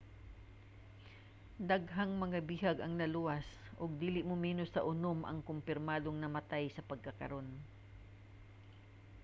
daghang mga bihag ang naluwas ug dili muminos sa unom ang kompirmadong namatay sa pagkakaron